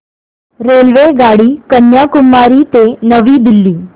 रेल्वेगाडी कन्याकुमारी ते नवी दिल्ली